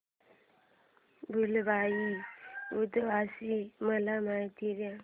भुलाबाई उत्सवाची मला माहिती दे